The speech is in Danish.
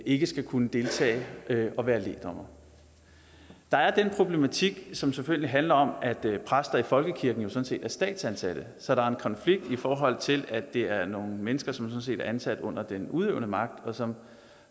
ikke skal kunne deltage og være lægdommere der er den problematik som selvfølgelig handler om at præster i folkekirken jo sådan set er statsansatte så der er en konflikt i forhold til at det er nogle mennesker som sådan set er ansat under den udøvende magt og som